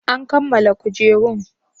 An kammala kujerun?